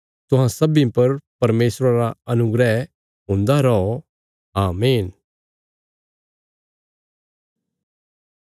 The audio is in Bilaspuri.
तुहां सब्बीं पर परमेशरा रा अनुग्रह हुन्दा रौ आमीन